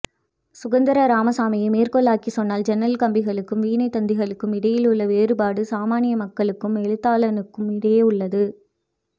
சுந்தர ராமசாமியை மேற்கோளாக்கிச் சொன்னால் ஜன்னல் கம்பிகளுக்கும் வீணைத்தந்திகளுக்கும் இடையே உள்ள வேறுபாடு சாமானிய மக்களுக்கும் எழுத்தாளனுக்கும் இடையே உள்ளது